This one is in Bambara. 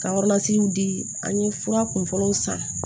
Ka di an ye fura kunfɔlɔw san